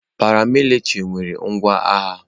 Paramilitrị nwere ngwa agha.